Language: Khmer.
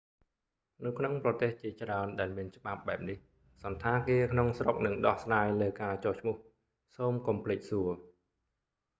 នៅក្នុងប្រទេសជាច្រើនដែលមានច្បាប់បែបនេះ សណ្ឋាគារក្នុងស្រុកនឹងដោះស្រាយលើការចុះឈ្មោះ សូមកុំភ្លេចសួរ